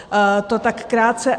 To tak krátce.